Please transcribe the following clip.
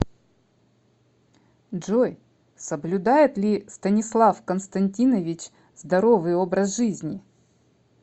джой соблюдает ли станислав константинович здоровый образ жизни